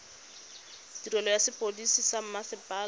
tirelo ya sepodisi sa mmasepala